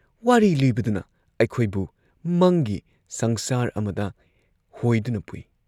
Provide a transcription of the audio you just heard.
ꯋꯥꯔꯤ ꯂꯤꯕꯗꯨꯅ ꯑꯩꯈꯣꯏꯕꯨ ꯃꯪꯒꯤ ꯁꯪꯁꯥꯔ ꯑꯃꯗ ꯍꯣꯏꯗꯨꯅ ꯄꯨꯏ ꯫